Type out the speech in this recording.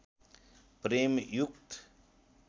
प्रेम युक्त